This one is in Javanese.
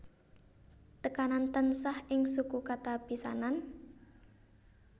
Tekanan tansah ing suku kata pisanan